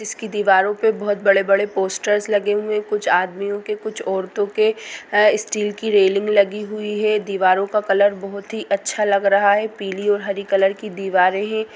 इसकी दीवारों पर बहुत बड़े-बड़े पोस्टरस लगे हुए कुछ आदमियों के कुछ औरतों के स्टील की रेलिंग लगी हुई है दीवारों का कलर बहुत ही अच्छा लग रहा है पीली और हरी कलर की दीवारें है ।